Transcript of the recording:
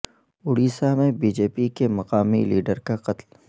اڈیشہ میں B J P کے مقامی لیڈر کا قتل